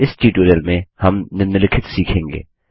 इस ट्यूटोरियल में हम निम्नलिखित सीखेंगे